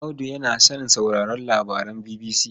Audu yana son sauraron labaran BBC.